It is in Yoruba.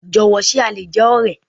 Jọ̀wọ́, ṣe a lè jẹ́ ọ̀rẹ́?